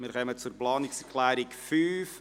Wir kommen zur Planungserklärung 5.